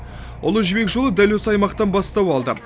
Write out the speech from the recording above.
ұлы жібек жолы дәл осы аймақтан бастау алды